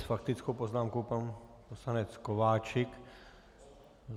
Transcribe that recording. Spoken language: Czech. S faktickou poznámkou pan poslanec Kováčik.